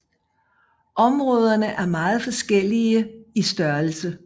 Områderne er meget forskellige i størrelse